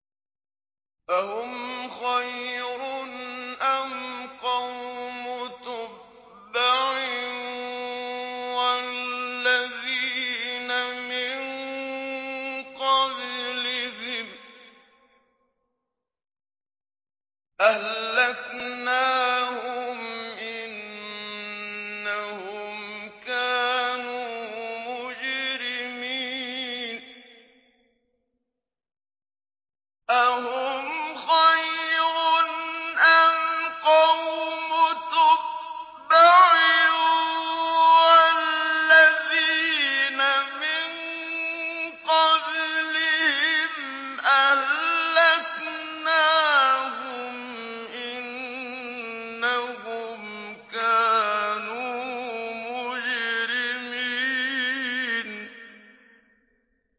أَهُمْ خَيْرٌ أَمْ قَوْمُ تُبَّعٍ وَالَّذِينَ مِن قَبْلِهِمْ ۚ أَهْلَكْنَاهُمْ ۖ إِنَّهُمْ كَانُوا مُجْرِمِينَ